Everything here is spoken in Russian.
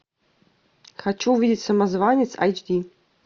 хочу увидеть самозванец айч ди